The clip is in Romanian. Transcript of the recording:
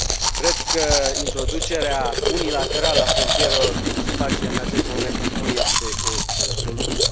Cred că introducerea unilaterală a frontierelor, cum se face în acest moment, nu este o soluție.